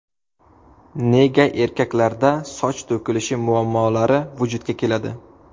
Nega erkaklarda soch to‘kilishi muammolari vujudga keladi?.